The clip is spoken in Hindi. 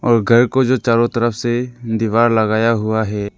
और घर को जो चारों तरफ से दीवार लगाया हुआ है।